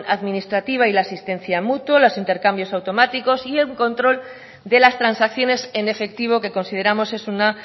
administrativa y la asistencia mutua los intercambios automáticos y un control de las transacciones en efectivo que consideramos es una